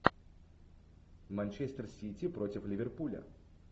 манчестер сити против ливерпуля